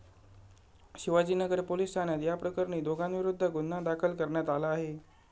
Shivajinagar police ठाण्यात या प्रकरणी दोघांविरुध्द गुन्हा दाखल करण्यात आला आहे.